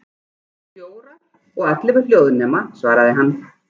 Fjórar, og ellefu hljóðnema, svaraði hann.